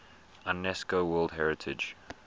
unesco world heritage